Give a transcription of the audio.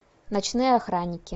ночные охранники